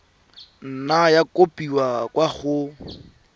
nna ya kopiwa kwa go